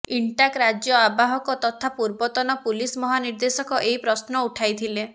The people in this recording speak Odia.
ଇନଟାକ୍ ରାଜ୍ୟ ଆବାହକ ତଥା ପୂର୍ବତନ ପୁଲିସ ମହାନିେର୍ଦଶକ ଏହି ପ୍ରଶ୍ନ ଉଠାଇଥିେଲ